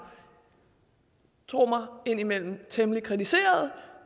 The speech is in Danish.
tro mig indimellem temmelig kritiserede